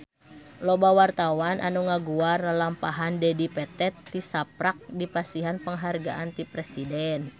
Loba wartawan anu ngaguar lalampahan Dedi Petet tisaprak dipasihan panghargaan ti Presiden